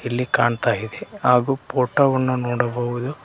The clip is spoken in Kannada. ಇಲ್ಲಿ ಕಾಣ್ತಾ ಇದೆ ಹಾಗು ಫೋಟೋ ವನ್ನು ನೋಡಬಹುದು.